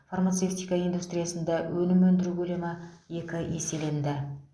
фармацевтика индустриясында өнім өндіру көлемі екі еселенді